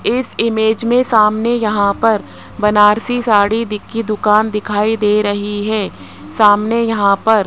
इस इमेज में सामने यहां पर बनारसी साड़ी की दुकान दिखाई दे रही है सामने यहां पर --